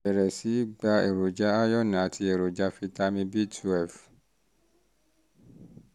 bẹ̀rẹ̀ sí í gba èròjà iron àti èròjà fitamin b twelve